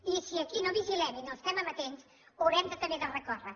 i si aquí no vigilem i no estem amatents hi haurem també de recórrer